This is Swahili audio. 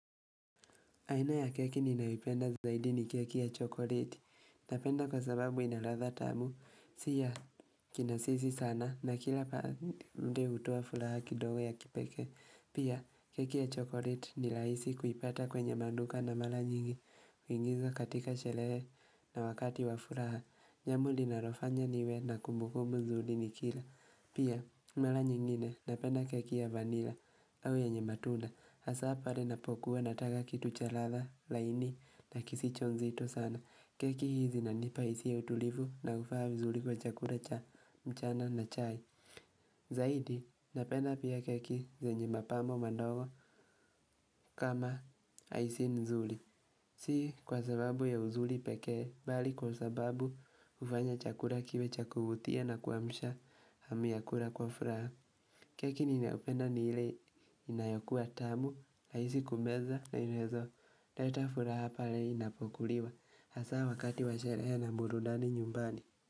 Aina ya keki ninayoipenda zaidi ni keki ya chokoleti, napenda kwa sababu inaladha tamu, si ya kinasisi sana na kila pande hutoa furaha kidogo ya kipeke. Pia, keki ya chokoleti ni rahisi kuipata kwenye maduka na mara nyingi, huingiza katika sherehe na wakati wa furaha, jambo linalofanya niwe na kumbukumbu nzuri nikila. Pia mara nyingine napenda keki ya vanila au yenye matunda hasa pale napokuwa nataka kitu cha ladha laini na kisicho nzito sana. Keki hizi zinanipa hisia ya utulivu na ufaa vizuri kwa chakula cha mchana na chai Zaidi napenda pia keki zenye mapambo madogo kama icing nzuri Si kwa sababu ya uzuri pekee, bali kwa sababu hufanya chakula kiwe cha kuvutia na kuamsha hamu ya kula kwa furaha. Keki ninayopenda ni ile inayokuwa tamu, rahisi kumeza na inaweza, leta furaha pale inapokuliwa. Hasa wakati wa sherehe na burudani nyumbani.